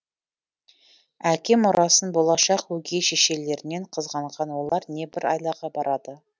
әке мұрасын болашақ өгей шешелерінен қызғанған олар небір айлаға барады